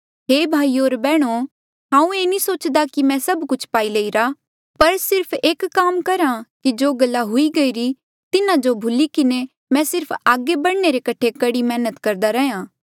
हे भाईयो होर बैहणो हांऊँ ये नी सोचदा कि मैं सभ कुछ पाई लेईरा पर सिर्फ एक काम करहा जो कि जो गल्ला हुई गईरी तिन्हा जो भूली किन्हें मैं सिर्फ आगे बढ़ने रे कठे कड़ी मेहनत करदा रैहया